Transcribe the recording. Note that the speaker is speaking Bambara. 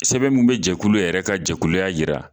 Sɛbɛn min bɛ jɛkulu yɛrɛ ka jɛkuluya jira